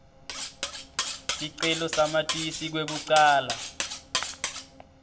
sicelo samatisi kwekucala